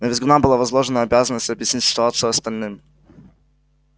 на визгуна была возложена обязанность объяснить ситуацию остальным